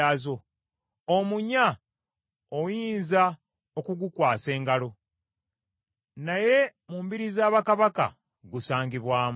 omunya oyinza okugukwasa engalo, naye mu mbiri za bakabaka gusangibwamu.